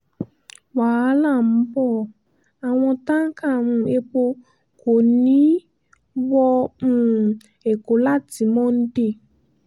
wàhálà ń bo àwọn táǹkà um epo kò ní í wọ um ẹ̀kọ́ láti monde